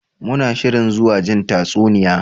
Muna shirin zuwa jin tatsuniya.